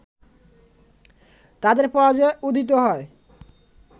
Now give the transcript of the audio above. তাদের পরাজয়ে উদিত হয়